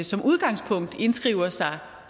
som udgangspunkt indskriver sig